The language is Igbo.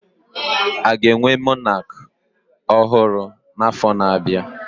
Aga enwe Monak ọhụrụ na afo na abịa?